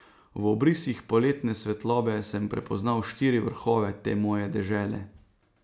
V obrisih poletne svetlobe sem prepoznal štiri vrhove te moje dežele.